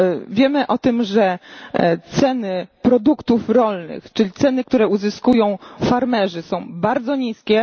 Wiemy o tym, że ceny produktów rolnych, czyli ceny, które uzyskują farmerzy, są bardzo niskie.